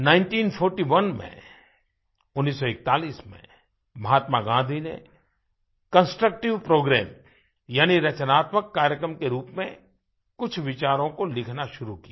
nineteen forty one में1941 में महात्मा गाँधी ने कंस्ट्रक्टिव प्रोग्राम यानी रचनात्मक कार्यक्रम के रूप में कुछ विचारों को लिखना शुरू किया